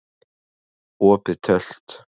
Opið Tölt